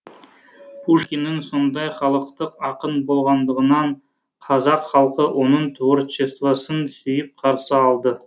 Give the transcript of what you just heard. пушкиннің сондай халықтық ақын болғандығынан қазақ халқы оның творчествасын сүйіп қарсы алды